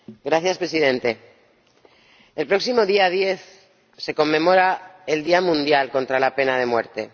Señor Presidente, el próximo día 10 se conmemora el Día Mundial contra la Pena de Muerte.